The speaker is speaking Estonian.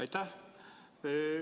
Aitäh!